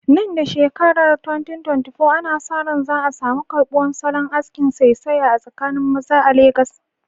Nan da shekarar 2024, ana sa ran za a samu karbuwar salon askin saisaye a tsakanin maza a Legas.